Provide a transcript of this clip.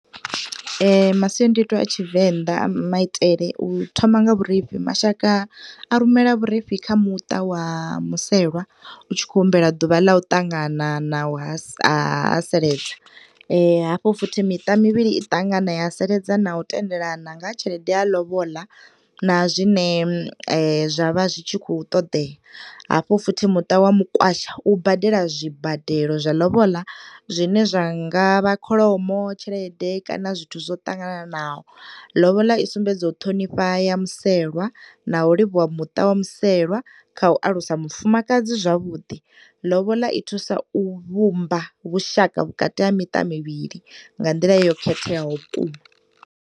Masiandoitwa a Tshivenḓa a maitele u thoma nga vhurifhi, mashaka a rumela vhurifhi kha muṱa wa muselwa, u tshi khou humbela ḓuvha la u ṱangana na u ha haseledza. Hafho futhi miṱa mivhili i ṱangana, ya haseledza na u tendelana nga ha tshelede ya lobola na zwine zwa vha zwi tshi khou ṱoḓea. Hafho futhi muṱa wa mukwasha u badela zwibadelo zwa lobola. Zwine zwi nga vha kholomo, tshelede, kana zwithu zwo ṱangananaho. Lobola i sumbedza u ṱhonifha ya muselwa, na u livhuwa muṱa wa muselwa kha u alusa mufumakadzi zwavhuḓi. Lobola i thusa u vhumba vhushaka vhukati ha miṱa mivhili nga nḓila yo khetheaho vhukuma.